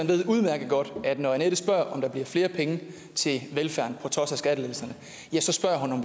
ved udmærket godt at når annette spørger om der bliver flere penge til velfærd på trods af skattelettelserne